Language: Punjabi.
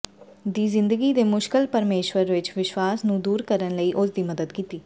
ਦੀ ਜ਼ਿੰਦਗੀ ਦੇ ਮੁਸ਼ਕਲ ਪਰਮੇਸ਼ੁਰ ਵਿੱਚ ਵਿਸ਼ਵਾਸ ਨੂੰ ਦੂਰ ਕਰਨ ਲਈ ਉਸ ਦੀ ਮਦਦ ਕੀਤੀ